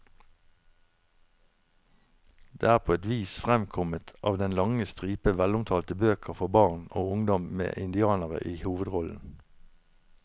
Det er på et vis fremkommet av den lange stripe velomtalte bøker for barn og ungdom med indianere i hovedrollen.